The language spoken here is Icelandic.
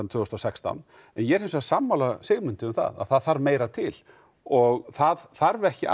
tvö þúsund og sextán en ég er hins vegar sammála Sigmundi um það að það þarf meira til og það þarf ekki allt